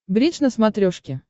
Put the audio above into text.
бридж на смотрешке